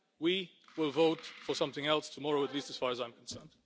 we will vote for something else tomorrow, at least as far as I am concerned.